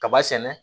Kaba sɛnɛ